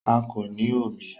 Akọ ni o bí.